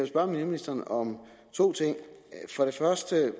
spørge miljøministeren om to ting først vil